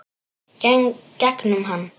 Gegnum hann.